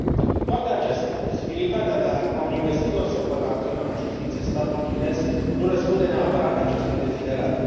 Cu toate acestea, posibilitatea ca un investitor să poată acționa în justiție statul chinez nu răspunde neapărat acestui deziderat.